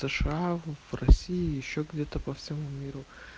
сша в россии ещё где-то по всему миру